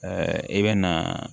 i bɛ na